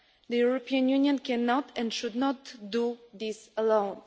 The European Union cannot and should not do this alone.